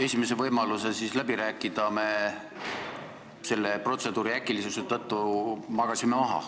Esimese võimaluse läbi rääkida me magasime selle protseduuri äkilisuse tõttu maha.